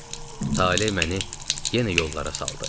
Taleh məni yenə yollara saldı.